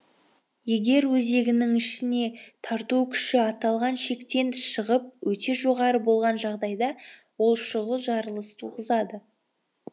егер өзегінің ішіне тарту күші аталған шектен шығып өте жоғары болған жағдайда ол шұғыл жарылыс туғызады